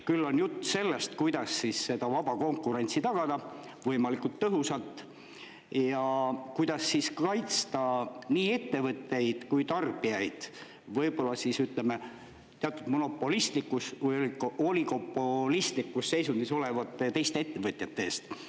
Küll on jutt sellest, kuidas seda vaba konkurentsi tagada võimalikult tõhusalt ja kuidas siis kaitsta nii ettevõtteid kui tarbijaid võib-olla teatud monopolistlikus või oligopolistlikus seisundis olevate teiste ettevõtjate eest.